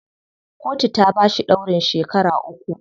Kotu ta bashi ɗaurin shekara uku.